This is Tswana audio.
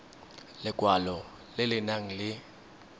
lekwalo le le nang le